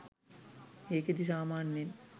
ඒකෙදි සාමාන්‍යයෙන්